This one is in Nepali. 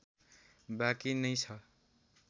बाँकी नै छ